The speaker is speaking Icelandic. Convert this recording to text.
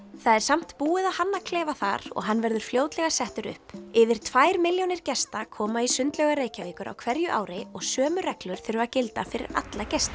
það er samt búið að hanna klefa þar og hann verður fljótlega settur upp yfir tvær milljónir gesta koma í sundlaugar Reykjavíkur á hverju ári og sömu reglur þurfa að gilda fyrir alla gesti